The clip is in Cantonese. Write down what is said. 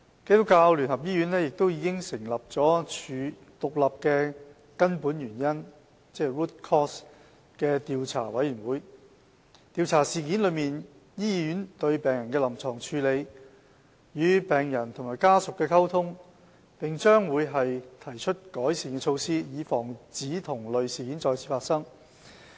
基督教聯合醫院已成立獨立的根本原因調查委員會，調查事件中醫院對病人的臨床處理、與病人及家屬的溝通，並將會提出改善措施，以防止同類事件再次發生。